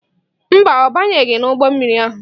Mba, ọ banyeghị n'ụgbọ mmiri ahụ.